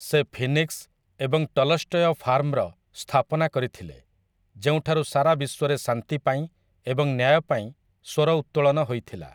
ସେ ଫିନିକ୍ସ ଏବଂ ଟଲଷ୍ଟୟ ଫାର୍ମର ସ୍ଥାପନା କରିଥିଲେ ଯେଉଁଠାରୁ ସାରାବିଶ୍ୱରେ ଶାନ୍ତି ପାଇଁ ଏବଂ ନ୍ୟାୟ ପାଇଁ ସ୍ୱର ଉତ୍ତୋଳନ ହୋଇଥିଲା ।